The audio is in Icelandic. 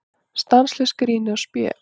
Stanslaust grín og spé.